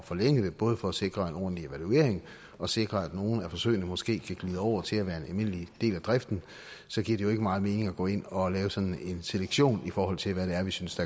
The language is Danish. forlænge dem både for at sikre en ordentlig evaluering og sikre at nogle af forsøgene måske kan glide over til at være en almindelig del af driften giver det jo ikke meget mening at gå ind og lave sådan en selektion i forhold til hvad det er vi synes